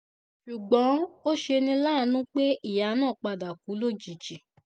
ṣùgbọ́n ó ṣe ní láàánú pé ìyá náà padà kú lójijì